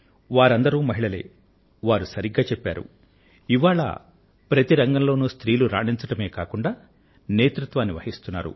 వారు సరిగ్గా చెప్పారు ఇవాళ ప్రతి రంగంలో స్త్రీలు రాణించడమే కాకుండా నేతృత్వాన్ని వహిస్తున్నారు